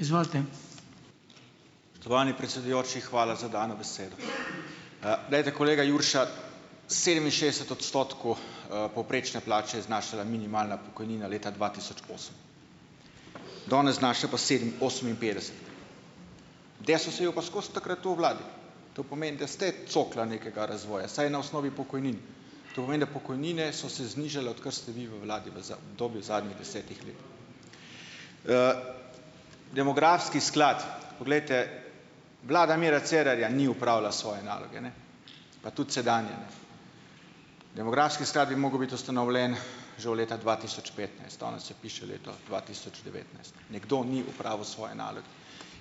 Spoštovani predsedujoči, hvala za dano besedo. Glejte, kolega Jurša, sedeminšestdeset odstotkov, povprečne plače je znašala minimalna pokojnina leta dva tisoč osem. Danes znaša pa oseminpetdeset. Desus je bil pa skozi takrat v vladi. To pomeni, da ste cokla nekega razvoja, vsaj na osnovi pokojnin. To pomeni, da pokojnine so se znižale, odkar ste vi v vladi v v obdobju zadnjih desetih let. Demografski sklad, poglejte, vlada Mira Cerarja ni opravila svoje naloge, ne, pa tudi sedanja ne. Demografski sklad bi mogel biti ustanovljen že od leta dva tisoč petnajst. Danes se piše leto dva tisoč devetnajst. Nekdo ni opravil svoje naloge.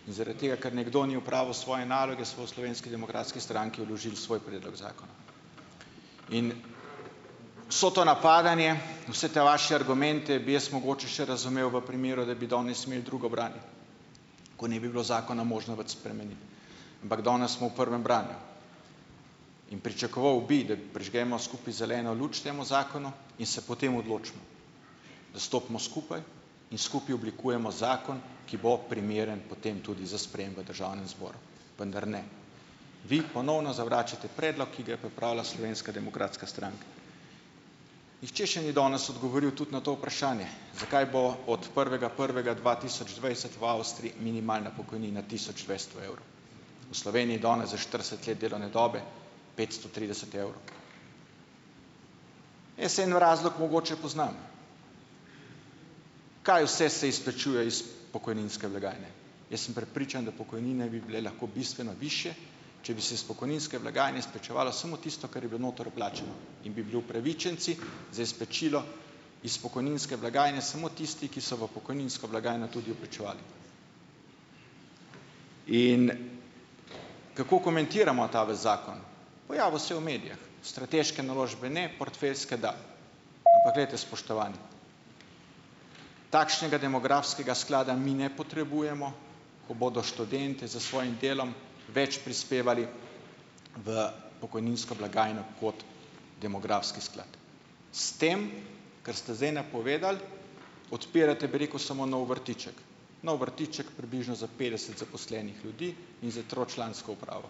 In zaradi tega, ker nekdo ni opravil svoje naloge, smo v Slovenski demokratski stranki vložili svoj predlog zakona. In vse to napadanje, vse te vaše argumente bi jaz mogoče še razumel v primeru, da bi danes imeli drugo branje, ko ne bi bilo zakona možno več spremeniti. Ampak danes smo v prvem branju in pričakoval bi, da prižgemo skupaj zeleno luč temu zakonu in se potem odločimo, da stopimo skupaj in skupaj oblikujemo zakon, ki bo primeren potem tudi za sprejem v državnem zboru, vendar ne. Vi ponovno zavračate predlog, ki ga je pripravila Slovenska demokratska stranka. Nihče še ni danes odgovoril tudi na to vprašanje, zakaj bo od prvega prvega dva tisoč dvajset v Avstriji minimalna pokojnina tisoč dvesto evrov. V Sloveniji danes za štirideset let delovne dobe petsto trideset evrov. Jaz en razlog mogoče poznam. Kaj vse se izplačuje iz pokojninske blagajne. Jaz sem prepričan, da pokojnine bi bile lahko bistveno višje, če bi se s pokojninske blagajne izplačevalo samo tisto, kar je bilo noter vplačano, in bi bili upravičenci za izplačilo iz pokojninske blagajne samo tisti, ki so v pokojninsko blagajno tudi vplačevali. In kako komentiramo ta vaš zakon? Pojavil se je v medijih. Strateške naložbe ne, portfeljske da. Ampak glejte, spoštovani, takšnega demografskega sklada mi ne potrebujemo. Ko bodo študentje s svojim delom več prispevali v pokojninsko blagajno kot demografski sklad. S tem, kar ste zdaj napovedali, odpirate, bi rekel, samo nov vrtiček. Nov vrtiček približno za petdeset zaposlenih ljudi in s tročlansko upravo.